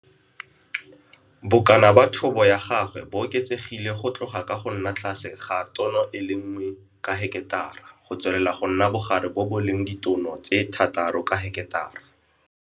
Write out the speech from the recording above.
Bokana ba thobo ya gagwe bo oketsegile go tloga ka go nna tlase ga tono e le 1 ka heketara go tswelela go nna bogare bo bo leng ditono tse 6 ka heketara..